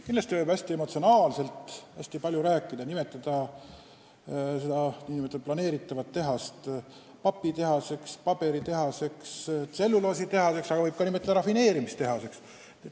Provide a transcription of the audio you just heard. Kindlasti võib hästi emotsionaalselt hästi palju rääkida, nimetada seda planeeritavat tehast papitehaseks, paberitehaseks, tselluloositehaseks, aga seda võib nimetada ka rafineerimistehaseks.